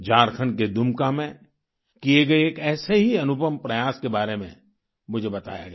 झारखण्ड के दुमका में किए गए एक ऐसे ही अनुपम प्रयास के बारे में मुझे बताया गया